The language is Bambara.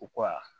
U ka